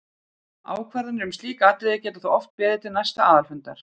Ákvarðanir um slík atriði geta þó oft beðið til næsta aðalfundar.